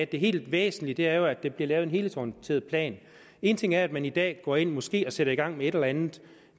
det helt væsentlige er at der bliver lavet en helhedsorienteret plan en ting er at man i dag går ind og måske sætter i gang med et eller andet